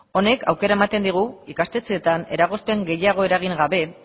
honek aukera ematen digu ikastetxeetan eragozpen gehiago eragin gabe